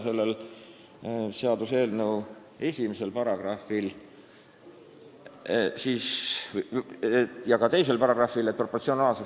Selle seaduseelnõu esimeses ja teises paragrahvis ei ole ette nähtud sanktsioone.